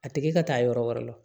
A tigi ka taa yɔrɔ wɛrɛ la